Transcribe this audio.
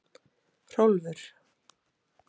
Hrólfur